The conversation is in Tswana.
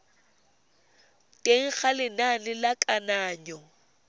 teng ga lenane la kananyo